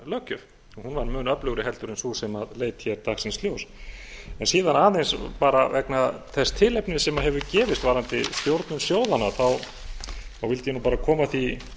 greiðsluaðlögunarlöggjöf hún var mun öflugri en sú sem leit hér dagsins ljós síðan aðeins bara vegna þess tilefnis sem hefur gefist varðandi stjórnun sjóðanna vildi ég bara koma því